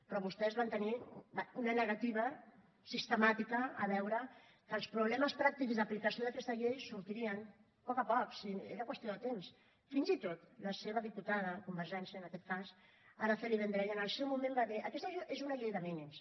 però vostès van tenir una negativa sistemàtica a veure que els problemes pràctics d’aplicació d’aquesta llei sortirien a poc a poc si era qüestió de temps fins i tot la seva diputada convergència en aquest cas araceli vendrell en el seu moment va dir aquesta és una llei de mínims